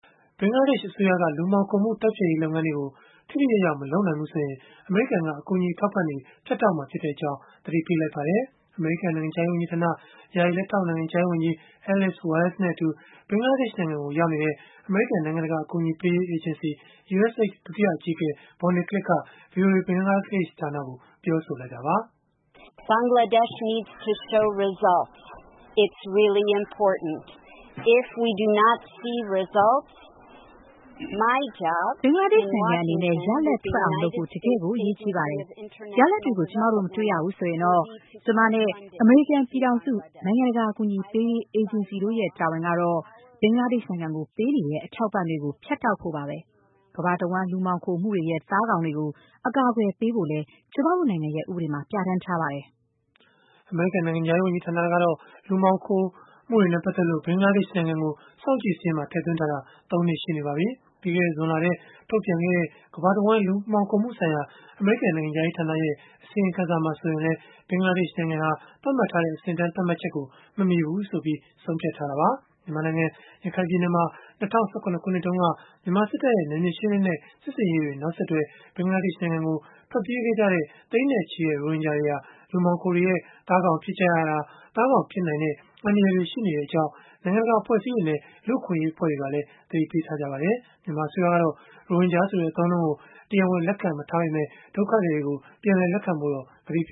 ဘင်္ဂလားဒေ့ရှ် အစိုးရက လူမှောင်ခိုမှု တိုက်ဖျက်ရေး လုပ်ငန်းတွေကို ထိထိရောက်ရောက် မလုပ်နိုင်ဘူးဆိုရင် အမေရိကန်က အကူအညီ အထောက်အပံ့တွေ ဖြတ်တောက်မှာဖြစ်ကြောင်း သတိပေးလိုက်ပါတယ်။ အမေရိကန် နိုင်ငံခြားရေးဝန်ကြီးဌာန ယာယီလက်ထောက် နိုင်ငံခြားရေးဝန်ကြီး Alice Wells နဲ့အတူ ဘင်္ဂလားဒေ့ရှ်နိုင်ငံကို ရောက်နေတဲ့ အမေရိကန် နိုင်ငံတကာ အကူအညီပေးရေး အေဂျင်စီ (USAID) ဒုတိယ အကြီးအကဲ Bonnie Glick က ဗွီအိုအေ ဘင်္ဂလားဒေ့ရှ် ဌာနကို ပြောဆိုလိုက်တာပါ။ “ဘင်္ဂလားဒေ့ရှ် နိုင်ငံ အနေနဲ့ ရလဒ်ထွက်အောင်လုပ်ဖို့ တကယ့်ကို အရေးကြီးပါတယ်။ ရလဒ်တွေကို ကျမတို့ မတွေ့ရဘူး ဆိုရင်တော့၊ ကျမနဲ့ အမေရိကန် ပြည်ထောင်စု နိုင်ငံတကာ အကူအညီပေးရေး အေဂျင်စီတို့ရဲ့ တာဝန်ကတော့ ဘင်္ဂလားဒေ့ရှ်နိုင်ငံကို ပေးနေတဲ့ အထောက်အပံ့တွေကို ဖြတ်တောက်ဖို့ပါပဲ။ ကမ္ဘာတဝန်း လူမှောင်ခိုမှုတွေရဲ့ သားကောင်တွေကို အကာအကွယ်ပေးဖို့လည်း ကျမတို့နိုင်ငံရဲ့ ဥပဒေမှာ ပြဌာန်းထားပါတယ်။” အမေရိကန် နိုင်ငံခြားရေး ဝန်ကြီးဌာနကတော့ လူမှောင်ခိုမှုတွေနဲ့ ပတ်သက်လို့ ဘင်္ဂလားဒေ့ရှ် နိုင်ငံကို စောင့်ကြည့်စာရင်းမှာ ထည့်သွင်းထားတာ ၃ နှစ် ရှိနေပါပြီ။ ပြီးခဲ့တဲ့ ဇွန်လထဲမှာ ထုတ်ပြန်ခဲ့တဲ့ ကမ္ဘာတဝန်း လူမှောင်ခိုမှုဆိုင်ရာ အမေရိကန် နိုင်ငံခြားရေး ဌာနရဲ့ အစီရင်ခံစာမှာ ဆိုရင်လည်း ဘင်္ဂလားဒေ့ရှ်နိုင်ငံဟာ သတ်မှတ်ထားတဲ့ အဆင့်အတန်းသတ်မှတ်ချက်ကို မမှီဘူးလို့ ဆုံးဖြတ်ခဲ့တာပါ။ မြန်မာနိုင်ငံ ရခိုင်ပြည်နယ်မှာ ၂၀၁၇ ခုနှစ်တုန်းက မြန်မာစစ်တပ်ရဲ့ နယ်မြေရှင်းလင်းတဲ့ စစ်ဆင်ရေးတွေ နောက်ဆက်တွဲ ဘင်္ဂလားဒေ့ရှ် နိုင်ငံကို ထွက်ပြေးခဲ့ကြတဲ့ သိန်းနဲ့ချီတဲ့ ရိုဟင်ဂျာတွေဟာ လူမှောင်ခိုတွေရဲ့ သားကောင်ဖြစ်ကြရတာ သားကောင် ဖြစ်နိုင်တဲ့ အန္တရာယ်တွေ ရှိနေကြောင်း နိုင်ငံတကာ အဖွဲ့အစည်းတွေနဲ့ လူ့အခွင့်အရေး အဖွဲ့တွေကလည်း သတိပေးထားပါတယ်။ မြန်မာအစိုးရကတော့ ရိုဟင်ဂျာဆိုတဲ့ အသုံးအနှုန်းကို တရားဝင် လက်ခံမထားပေမဲ့ ဒုက္ခသည်တွေကို ပြန်လက်ခံဖို့ ကတိပြ